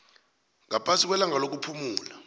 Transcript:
ngaphasi kwelanga lokuphumula